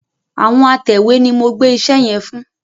Àwọn atẹ̀wé ni mo gbẹ́ iṣẹ́ yẹn fún.